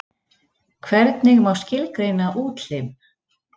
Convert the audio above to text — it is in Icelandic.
Hvernig má skilgreina útlim?